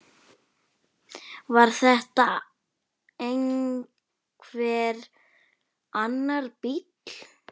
Var þetta einhver annar bíll?